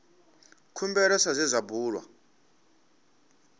khumbelo sa zwe zwa bulwa